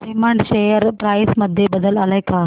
Raymond share price मध्ये बदल आलाय का